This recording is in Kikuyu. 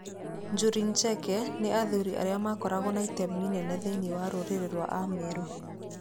Njuri Ncheke nĩ athuri arĩa makoragwo na itemi inene thĩinĩ wa rũrĩrĩ rwa Ameru.